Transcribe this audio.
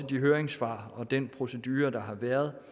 de høringssvar og den procedure der har været